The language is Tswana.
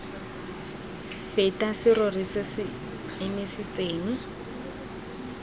feta serori se se emisitseng